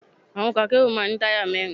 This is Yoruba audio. Àwọn ọkọ̀ akérò máa ń ní táyà mẹ́rin.